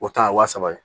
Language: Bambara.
O ta ye wa saba ye